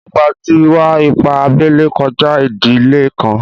Ìpà tí ìwà-ìpà àbèlè kọ̀jà ìdílé níkan.